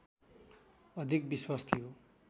अधिक विश्वास थियो